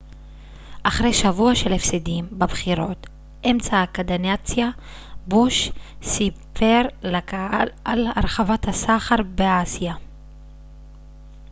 אחרי שבוע של הפסדים בבחירות אמצע הקדנציה בוש סיפר לקהל על הרחבת הסחר באסיה